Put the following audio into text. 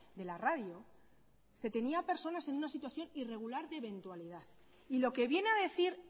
de la radio se tenía a personas en una situación irregular de eventualidad y lo que viene a decir